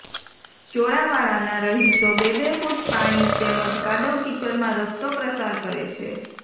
ચોરાવાળાના રહીશો બે બે ફૂટ પાણી તેમજ કાદવ કીચડમાં રસ્તો પ્રસાર કરે છે